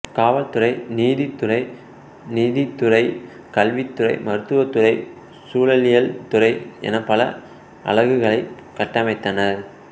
காவல்துறை நீதித்துறை நிதித்துறை கல்வித்துறை மருத்துவத்துறை சூழலியல்துறை என பல அலகுகளைக் கட்டமைத்தனர்